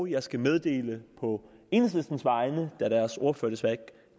jeg skal meddele på enhedslistens vegne da deres ordfører desværre ikke